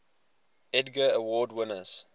edgar award winners